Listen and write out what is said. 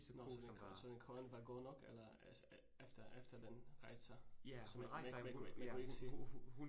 Så ko så så koen var god nok eller efter efter den rejste sig, så man kunne ikke, man kunne ikke se